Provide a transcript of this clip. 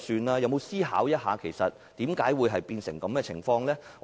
他有否思考一下，為何會出現這種情況？